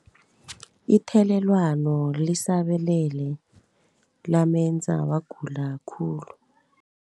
Ithelelwano lisabalele lamenza wagula khulu.